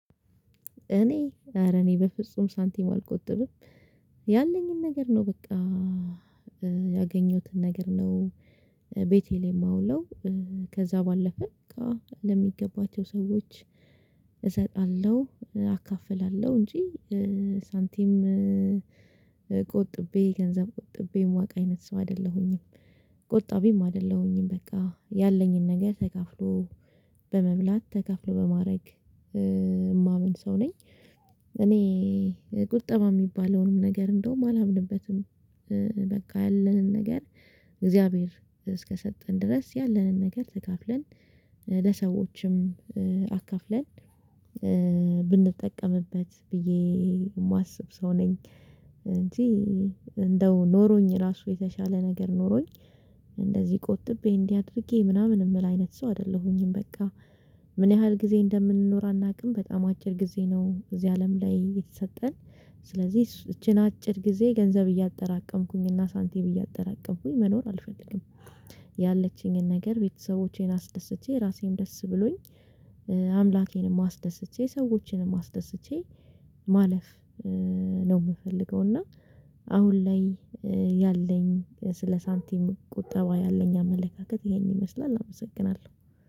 እኔ ኧረ እኔ በፍጹም ሳንቲም አልቆጥብም ያለኝን ነገር ነው በቃ ነገር ነው። ቤቴሌም አውለው ከዛ ባለፈ እቃ ለሚገባቸው ሰዎች እሰጣለሁ አካፍላለሁ እንጂ። ሳንቲም ቆጥቤ ገንዘብ ቆጥቤ ማውቅ አይነት ሰው አይደለሁኝም ቆጣቢም አይደለሁኝም። በቃ ያለኝን ነገር ተካፍሎ በመብላት ተካፍሎ በማድረግ የማምን ሰው ነኝ። እኔ ቁጠባ የሚባለውንም ነገር እንደውም አላምንበትም። በቃ ያለንን ነገር እግዚአብሔር እስከሰጠን ድረስ ያለንን ነገር ተከፍለን ለሰዎችም አካፍለን ብንጠቀምበት ብዬ የማስብ ሰው ነኝ። እንዴ እንደው ኖሮኝ ራሱ የተሻለ ነገር ኖሮኝ እንደዚህ ቁጥብ እንዲህ አድርጌ ምናምን የምል አይነት ሰው አይደለሁኝም። በቃ ምን ያህል ጊዜ እንደምንኖር አናውቅም በጣም አጭር ጊዜ ነው እዚህ አለም ላይ የተሰጠን ስለዚህ ይቺን አጭር ጊዜ ገንዘብ እያጠራቀምኩኝ እና ሳንቲ ብዬ መኖር አልፈልግም። ያለችኝን ነገር ቤተሰቦቼን አስደስቼ ራሴን ደስ ብሎኝ አምላኬንም አስደስቼ ሰዎችንም አስደስቼ ማለፍ ነው የምፈልገው። እና አሁን ላይ ያለኝ ስለ ሳንቲም ቁጠባ ያለኝ አመለካከት ይሄን ይመስላል አመሰግናለሁ